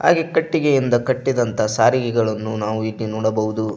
ಇದಕೆ ಕಟ್ಟಿಗೆಯಿಂದ ಕಟ್ಟಿದಂತ ಸಾರಿಗೆಗಳನ್ನು ನಾವು ಇಲ್ಲಿ ನೋಡಬಹುದು.